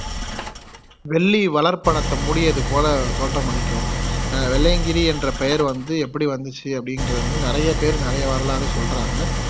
வெள்ளி வளர்ப்படத்தை மூடியது போல தோற்றமளிக்கும் அஹ் வெள்ளையங்கிரி என்ற பெயர் வந்து எப்படி வந்துச்சு அப்படின்றத வந்து நிறைய பேர் நிறைய வரலாறா சொல்லுறாங்க